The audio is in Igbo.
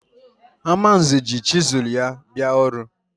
Amanze ji chizụl ya bịa ọrụ.